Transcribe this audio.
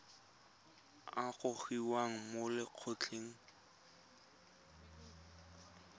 a a gogiwang mo lokgethong